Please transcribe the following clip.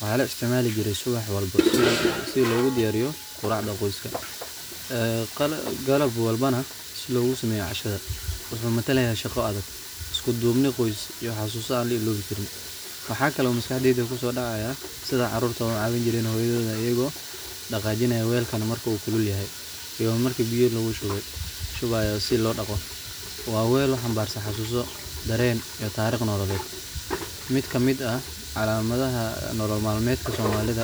maxane laisticmali jire subax walbo sii logu diyariyo quracda qoska, galab walba neh sii logusameyo cashada muxu naa matalaya shaqo adag iskudubni qooys iyo xasusa lailowi qarin . Waxa kale maskaxdeyda kusodacaya sidii carurta ucawini Jiren hooyoyin kooda ayago daqajinayo weelkan marku kulul yahay iyo marki biyo lagushuwayo sii lodaqo waa weel uxambarsan xasuso, dareen, iyo tarek nololed. Mid kamid aah calamadaxa nolol malmed, somalida.